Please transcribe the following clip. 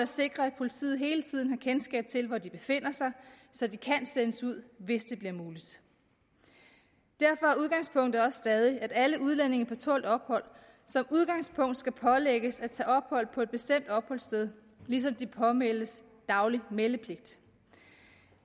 sikre at politiet hele tiden har kendskab til hvor de befinder sig så de kan sendes ud hvis det bliver muligt derfor er udgangspunktet også stadig at alle udlændinge på tålt ophold som udgangspunkt skal pålægges at tage ophold på et bestemt opholdssted ligesom de pålægges daglig meldepligt